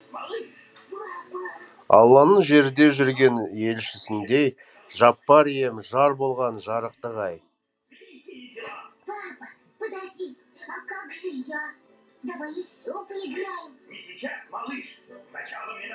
алланың жерде жүрген елшісіндей жаппар ием жар болған жарықтық ай